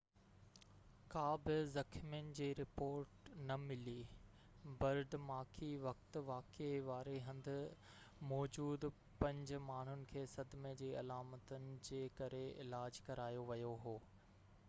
ڪا بہ زخمين جي رپورٽ نہ ملي پرڌماڪي وقت واقعي واري هنڌ موجود پنج ماڻهن کي صدمي جي علامتن جي ڪري علاج ڪرايو ويو هو